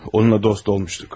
Onunla dost olmuştuk.